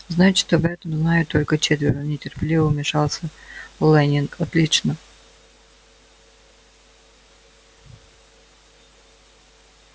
значит об этом знают только четверо нетерпеливо вмешался лэннинг отлично